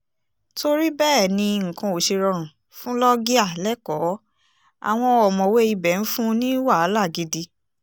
torí bẹ́ẹ̀ ni nǹkan ò ṣe rọrùn fún loggia lẹ́kọ̀ọ́ àwọn ọ̀mọ̀wé ibẹ̀ ń fún un ní wàhálà gidi